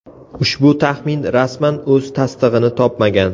Ushbu taxmin rasman o‘z tasdig‘ini topmagan.